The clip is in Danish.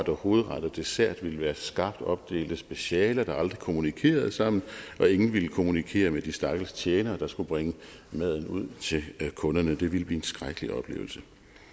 hovedret og dessert ville være skarpt opdelte specialer der aldrig kommunikerede sammen og ingen ville kommunikere med de stakkels tjenere der skulle bringe maden ud til kunderne det ville blive en skrækkelig oplevelse